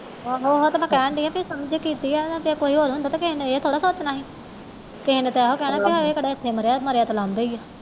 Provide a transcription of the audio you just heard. ਆਹੋ ਉਹੀ ਤੇ ਮੈਂ ਕਹਿਨ ਦਈ ਆ ਤੁਸੀ ਜੋ ਕੀਤੀ ਕੋਈ ਹੋਰ ਹੁੰਦਾ ਨਾ ਨੇ ਤੇ ਕਿਹੇ ਨੇ ਐ ਥੋੜੇ ਨਾ ਸੋਚਣਾ ਸੀ ਕਿਸੇ ਨੇ ਇਹ ਕਹਿਣਾ ਹਾ ਹਏ ਇਥੇ ਕਿਹੜਾ ਮਰਿਆ ਮਰਿਆ ਤੇ ਲਾਉਂਦੇ ਹੀ ਆ